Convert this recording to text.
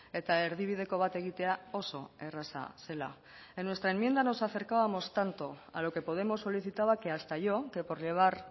eta erdibideko bat egitea oso erraza zela en nuestra enmienda nos acercábamos tanto a lo que podemos solicitaba que hasta yo que por llevar